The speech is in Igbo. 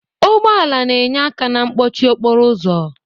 Ụgbọ ala na-enye aka na mkpọchị okporo ụzọ.